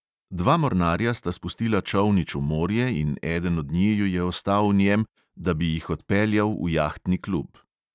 Dva mornarja sta spustila čolnič v morje in eden od njiju je ostal v njem, da bi jih odpeljal v jahtni klub.